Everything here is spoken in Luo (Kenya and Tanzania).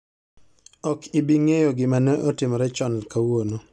Ok ibi ng'eyo gima ne otimore chon kawuono